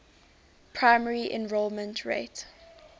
primary enrollment rate